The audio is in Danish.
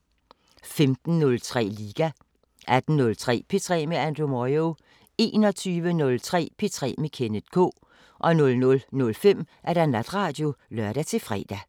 15:03: Liga 18:03: P3 med Andrew Moyo 21:03: P3 med Kenneth K 00:05: Natradio (lør-fre)